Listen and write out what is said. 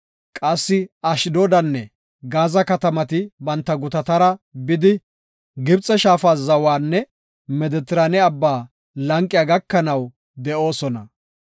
Qassi Ashdoodanne Gaaza katamati banta gutatara bidi, Gibxe shaafa zawanne Medetiraane abba lanqiya gakanaw de7oosona.